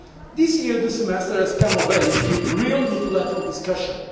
This year the semester has come of age with a real multilateral discussion.